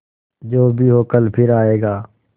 जो भी हो कल फिर आएगा